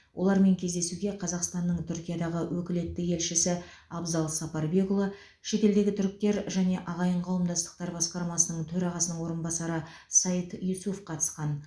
олармен кездесуге қазақстанның түркиядағы өкілетті елшісі абзал сапарбекұлы шетелдегі түріктер және ағайын қауымдастықтар басқармасының төрағасының орынбасары саит юсуф қатысқан